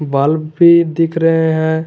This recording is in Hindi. बल्ब भी दिख रहे हैं।